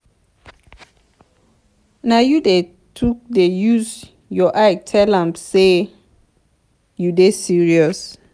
as you dey tok dey use your eye tell am sey you dey serious.